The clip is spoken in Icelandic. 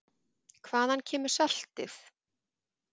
Hvaðan kemur saltið?